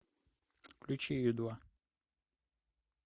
включи ю два